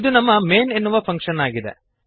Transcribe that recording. ಇದು ನಮ್ಮ ಮೈನ್ ಎನ್ನುವ ಫಂಕ್ಶನ್ ಆಗಿದೆ